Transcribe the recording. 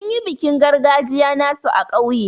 Sun yi bikin gargajiya nasu a kauye.